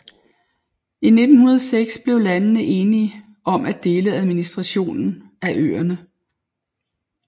I 1906 blev landene enige om at dele administrationen af øerne